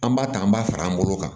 An b'a ta an b'a fara an bolo kan